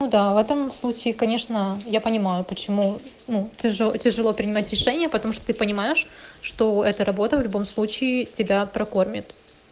ну да в этом случае конечно я понимаю почему ну ты же тяжело принимать решения потому что ты понимаешь что эта работа в любом случае тебя прокормит